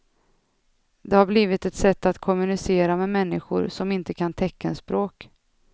Det har blivit ett sätt att kommunicera med människor som inte kan teckenspråk.